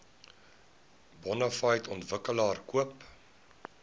bonafide ontwikkelaar koop